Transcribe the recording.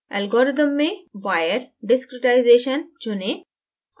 algorithm में wire discretization चुनें